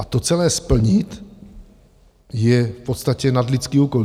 A to celé splnit je v podstatě nadlidský úkol.